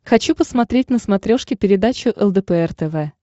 хочу посмотреть на смотрешке передачу лдпр тв